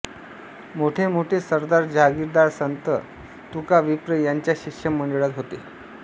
मोठे मोठे सरदार जहागीरदार संत तुकाविप्र यांच्या शिष्यमंडळात होते